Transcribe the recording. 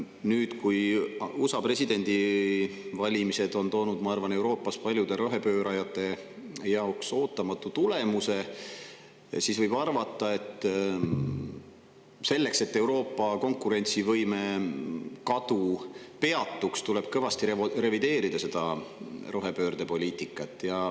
Nüüd, kui USA presidendivalimised on toonud, ma arvan, Euroopas paljude rohepöörajate jaoks ootamatu tulemuse, võib arvata, et selleks, et Euroopa konkurentsivõime kadu peatuks, tuleb kõvasti revideerida seda rohepöördepoliitikat.